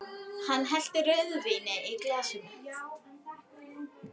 Hann hellti rauðvíni í glasið mitt.